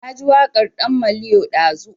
Na ji waƙar ɗan maliyo ɗazu